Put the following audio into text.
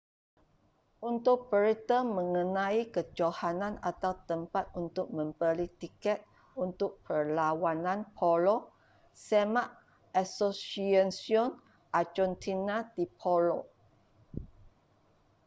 untuk berita mengenai kejohanan atau tempat untuk membeli tiket untuk perlawanan polo semak asociacion argentina de polo